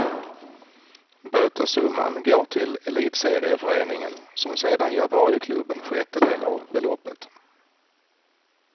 Bötessumman går till elitserieföreningen, som sedan ger varje klubb en sjättedel av beloppet.